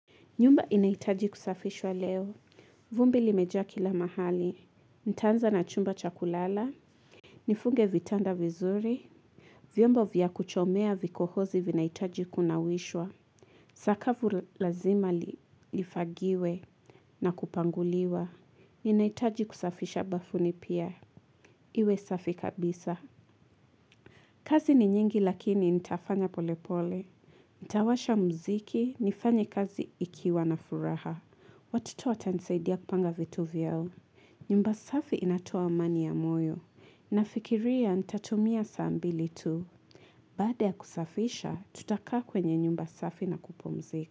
Nyumba inaitaji kusafishwa leo, vumbi limeja kila mahali, nitanza na chumba cha kulala, nifunge vitanda vizuri, vyomba vya kuchomea vikohozi vinaitaji kunawishwa, sakavu lazima lifagiwe na kupanguliwa, inaitaji kusafisha bafuni pia, iwe safi kabisa. Kazi ni nyingi lakini nitafanya pole pole. Ntawasha mziki nifanye kazi ikiwa na furaha. Watoto watanisaidia kupanga vitu vyao. Nyumba safi inatoa amani ya moyo. Nafikiria ntatumia sambili tu. Bada ya kusafisha tutakaa kwenye nyumba safi na kupumzika.